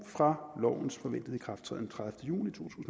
fra lovens forventede ikrafttræden tredivete juni to